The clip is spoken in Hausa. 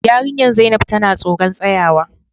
Yarinyar zainab tana tsoron tsayawa.